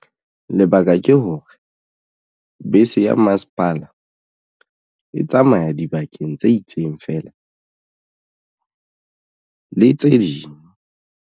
Lebaka ke hore bese ya masepala e tsamaya dibakeng tse itseng feela le tse ding.